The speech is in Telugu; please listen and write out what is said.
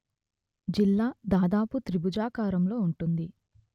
జిల్లా దాదాపు త్రిభుజాకారంలో ఉంటుంది